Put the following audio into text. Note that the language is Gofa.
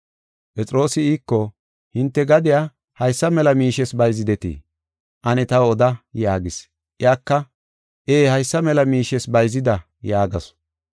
Phexroosi iiko, “Hinte gadiya haysa mela miishes bayzidetii? Ane taw oda” yaagis. Iyaka, “Ee, haysa mela miishes bayzida” yaagasu.